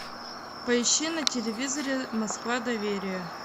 поищи на телевизоре москва доверие